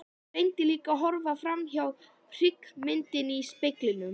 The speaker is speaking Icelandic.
Reyndi líka að horfa framhjá hryggðarmyndinni í speglinum.